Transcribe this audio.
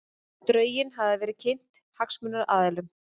Drögin hafa verið kynnt hagsmunaaðilum